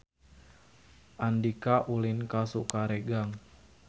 Andika ulin ka Sukaregang